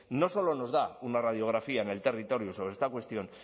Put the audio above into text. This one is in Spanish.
no solo nos da una radiografía en el territorio sobre esta cuestión